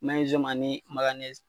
ani